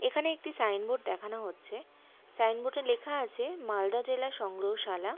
এখানে একটি sign board দেখানো হচ্ছে সাইন বোর্ড এর লেখা আছে মালদা জেলা সংগ্রহশালা।